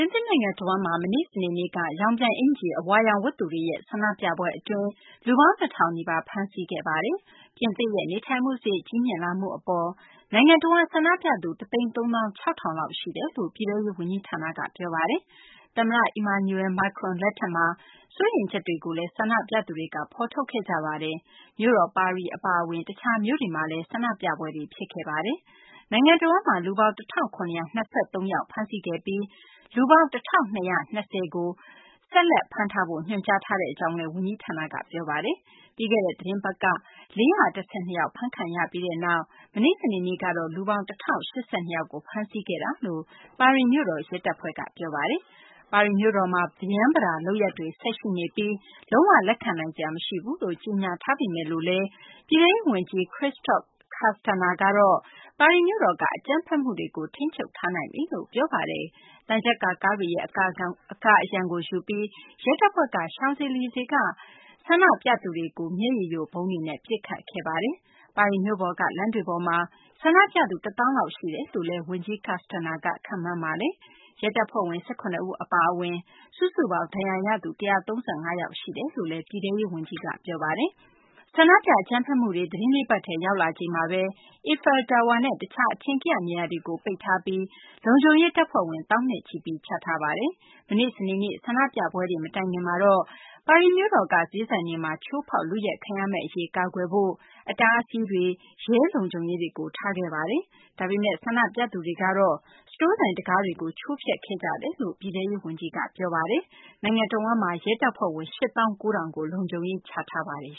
င်သစ်နိုင်ငံတဝန်းမှာ မနေ့ စနေနေ့က ရောင်ပြန်အကျီ ၤ အဝါရောင်ဝတ်သူတွေရဲ့ ဆန္ဒပြပွဲ အတွင်း လူပေါင်း ၂ ထောင်နီးပါး ဖမ်းဆီးခဲ့ပါတယ်။ ပြင်သစ်ရဲ့ နေထိုင်မှု စာရိတ် ကြီးမြင့်လာမှု အပေါ် နိုင်ငံတဝန်း ဆန္ဒပြသူ ၁ သိန်း ၃ သောင်း ၆ ထောင် လောက်ရှိတယ်လို့ ပြည်ထဲရေး ဝန်ကြီးဌာနက ပြောပါတယ်။ သမ္မတ Emmanuel Macron လက်ထက်မှာ စိုးရိမ်ချက်တွေကိုလည်း ဆန္ဒပြသူတွေက ဖော်ထုတ်ခဲ့ကြပါတယ်။ မြို့တော် ပါရီ၊ မာဆိုင်းလ်း၊ Bordeaux၊ Lyon နဲ့ Toulouse မြို့တွေ အပြင် တခြားမြို့တွေမှာလည်း ဆန္ဒပြပွဲတွေ ဖြစ်ခဲ့ပါတယ်။ နိုင်ငံတဝန်းမှာ လူပေါင်း ၁,၇၂၃ ယောက် ဖမ်းဆီးခဲ့ပြီး လူပေါင်း ၁,၂၂၀ ကို ဆက်ပြီး ဖမ်းထားဖို့ ညွှန်ကြားထားကြောင်း ဝန်ကြီးဌာနက ပြောပါတယ်။ ပြီးခဲ့တဲ့ သတင်းပတ်က ၄၁၂ ယောက် ဖမ်းခံခဲ့ရပြီးနောက် မနေ့ စနေနေ့ကတော့ လူပေါင်း ၁,၀၈၂ ယောက်ကို ဖမ်းဆီးခဲ့တယ်လို့ ပါရီမြို့တော် ရဲတပ်ဖွဲ့က ပြောပါတယ်။ ပါရီမြို့တော်မှာ ပရမ်းပတာ လုပ်ရပ်တွေ ဆက်ရှိနေပြီး လုံး၀ လက်ခံနိုင်စရာ မရှိဘူးလို့ ကြေညာထားပေမယ်လို့လည်း ပြည်ထဲရေး ဝန်ကြီး Christophe Castaner ကတော့ ပါရီမြို့တော်က အကြမ်းဖက်မှုတွေကို ထိန်းချုပ်ထားနိုင်ပြီလို့ ပြောပါတယ်။ သံချပ်ကာကားတွေရဲ့ အကာအရံကို ယူပြီး ရဲတပ်ဖွဲ့က Champs Elysees က အဝါရောင် ရောင်ပြန်အိကျီ် ၤဝတ် ဆန္ဒပြသူတွေကို မျက်ရေယိုဗုံးတွေနဲ့ ပစ်ခတ်ခဲ့ပါတယ်။ ပါရီမြို့ပေါ်က လမ်းတွေပေါ်မှာ ဆန္ဒပြသူ ၁ သောင်းလောက် ရှိမယ်လို့လည်း ဝန်ကြီး Castaner က ခန့်မှန်းပါတယ်။ ရဲတပ်ဖွဲ့ဝင် ၁၇ ဦး အပါအဝင် စုစုပေါင်း ဒဏ်ရာရသူ ၁၃၅ ယောက် ရှိတယ်လို့လည်း ပြည်ထဲရေး ဝန်ကြီးက ပြောပါတယ်။ ဆန္ဒပြ အကြမ်းဖက်မှုတွေက သတင်း ၄ ပတ်ထဲကို ရောက်လာချိန်မှာဘဲ Eiffel Tower နဲ့ တခြား ကမ္ဘာ့လှည့် ခရီးသွားတွေရဲ့ အထင်ကရ နေရာတွေကို ပိတ်ထားပြီး လုံခြုံရေး တပ်ဖွဲ့ဝင် သောင်းနဲ့ချီပြီး ချထားပါတယ်။ မနေ့ စနေနေ့က ဆန္ဒပြပွဲတွေ မတိုင်ခင်မှာဘဲ ပါရီမြို့တော်က ဈေးဆိုင်တွေမှာ ချိုးဖောက် ခိုးယူခံရမယ့် အရေးကို ကာကွယ်နိုင်ဖို့ အတားအဆီးတွေနဲ့ ပိတ်ဆို့၊ ရဲတွေနဲ့ တားဆီးထားခဲ့တာပါ။ ဒါပေမယ့်လည်း ဆန္ဒပြသူတွေကတော့ ရဲတွေနဲ့ ထိပ်တိုက်တွေ့ပြီး စတိုးဆိုင် တံခါးတွေကို ချိုးဖျက်ခဲ့ကြတယ်လို့လည်း ပြည်ထဲရေး ဝန်ကြီးက ပြောပါတယ်။ နိုင်ငံတဝန်းမှာတော့ ရဲတပ်ဖွဲ့ဝင် ၈ သောင်း ၉ ထောင်ကို လုံခြုံရေး ချထားပါတယ်